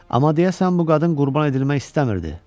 Amma deyəsən bu qadın qurban edilmək istəmirdi.